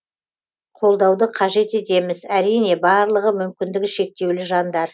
қолдауды қажет етеміз әрине барлығы мүмкіндігі шектеулі жандар